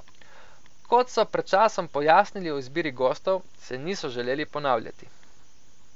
Kot so pred časom pojasnili o izbiri gostov, se niso želeli ponavljati.